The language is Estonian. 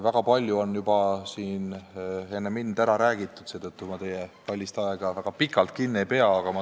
Väga palju on juba enne mind ära räägitud, seetõttu ma teie kallist aega ei raiska ja teid väga pikalt kinni ei pea.